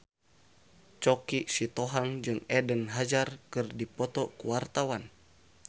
Choky Sitohang jeung Eden Hazard keur dipoto ku wartawan